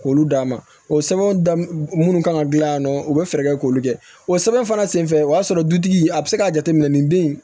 K'olu d'a ma o sɛbɛn minnu kan ka dilan yan nɔ u bɛ fɛɛrɛ kɛ k'olu kɛ o sɛbɛn fana senfɛ o y'a sɔrɔ dutigi a bɛ se k'a jateminɛ nin den in